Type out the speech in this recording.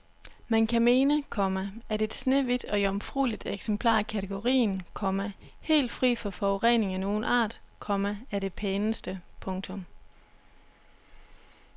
Man kan mene, komma at et snehvidt og jomfrueligt eksemplar af kategorien, komma helt fri for forurening af nogen art, komma er det pæneste. punktum